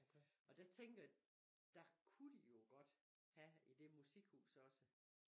Og der tænker jeg der kunne de jo godt have i det musikhus også